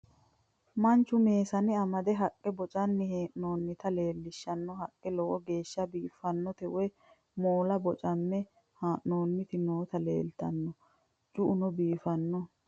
manchu meesane amade haqqe boncanni hee'noonniti leeltanno haqqe lowo geeshsha biiffinota woy moola boncanni hee'noonniti nooti leeltanno cu'uno biifanno .